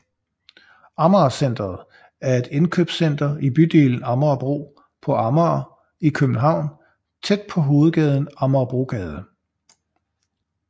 Amager Centret er et indkøbscenter i bydelen Amagerbro på Amager i København tæt på hovedgaden Amagerbrogade